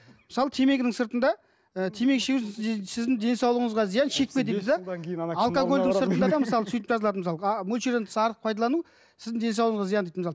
мысалы темекінің сыртында ы темекі шегу сіздің денсаулығыңызға зиян шекпе дейді де мөлшерден тыс артық пайдалану сіздің денсаулығыңа зиян дейді мысалы